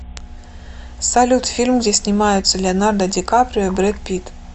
салют фильм где снимаются леонардо дикаприо и бред пит